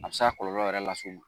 A bɛ se ka kɔlɔlɔ yɛrɛ lase i ma